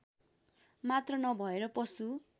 मात्र नभएर पशु